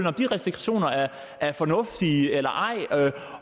om de restriktioner er fornuftige eller ej